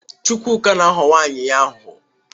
Chukwuka na-aghọ nwunye ya aghụghọ.